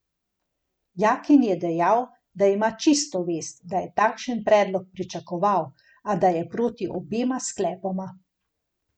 Jakin je dejal, da ima čisto vest, da je takšen predlog pričakoval, a da je proti obema sklepoma.